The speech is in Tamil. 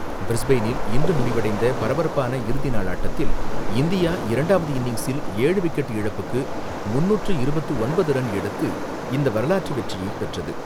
பிரிஸ்பெயினில் இன்று முடிவடைந்த பரபரப்பான இறுதி நாள் ஆட்டத்தில், இந்தியா இரண்டாவது இன்னிங்சில், ஏழு விக்கெட் இழப்புக்கு முன்னூற்று இருபத்து ஒன்பது ரன் எடுத்து இந்த வரலாற்று வெற்றியை பெற்றது.